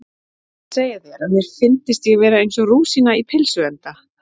Ég var að segja þér að mér fyndist ég vera eins og rúsína í pylsuenda